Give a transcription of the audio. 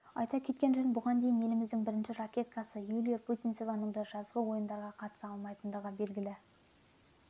айта кеткен жөн бұған дейін еліміздің бірінші ракеткасы юлия путинцеваның да жазғы ойындарға қатыса алмайтындығы белгілі